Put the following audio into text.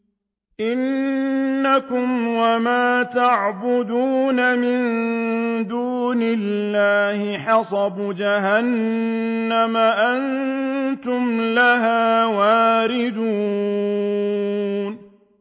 إِنَّكُمْ وَمَا تَعْبُدُونَ مِن دُونِ اللَّهِ حَصَبُ جَهَنَّمَ أَنتُمْ لَهَا وَارِدُونَ